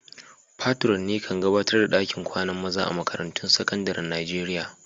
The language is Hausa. Patron'ne kan gabatar da dakin kwanan maza a'makarantun sekandaren Nijeriya.